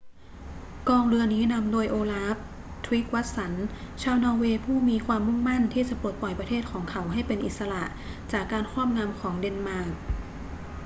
กองเรือนี้นำโดยโอลาฟ ทริกวัสสัน ชาวนอร์เวย์ผู้มีความุ่งมั่นที่จะปลดปล่อยประเทศของเขาให้เป็นอิสระจากการครอบงำของเดนมาร์ก